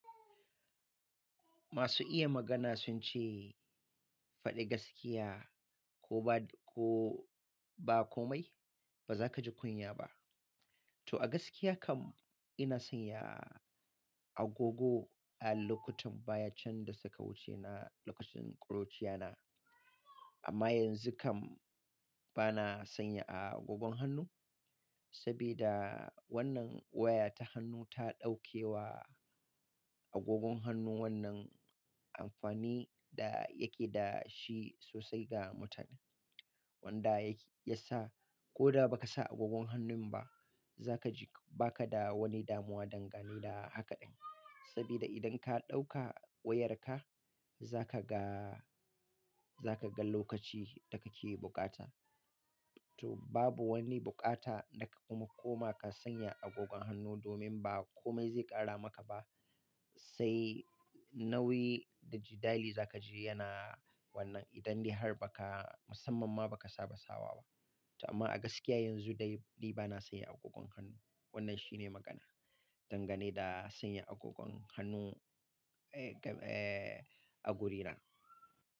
Masu iya magana sun ce, faɗi gaskiya ko ba ko ba komai, ba za ka ji kunya ba. To a gaskiya kam ina sanya agogo a lokutan baya can da suka wuce na lokacin ƙuruciya na. Amma yanzu kam bana sanya agogon hannu saboda wannan waya ta hannu ta ɗauke wa agogon hannun wannan amfani da yake da shi sosai ga mutum. Wanda ya sa ko da ba ka sa agogon hannun ba, za ka ji ba ka da wani damuwa dangane da hakaɗin. Saboda idan ka ɗauka wayarka za ka ga, za ka ga lokaci da kake bukata. To babu wani bukata da ka koma ka sanya agogon hannu domin ba komai zai ƙara maka ba. Sai nauyi da jiɗali za ka ji yana wannan idan dai har ba ka musanman ma ba ka saba sawa ba. Amma a gaskiya yanzu dai ni bana sanya agogon hannu. Wannan shine magana dangane da sanya agogon hannu, agurina.